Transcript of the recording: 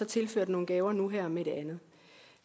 tilført nogle gaver nu her med den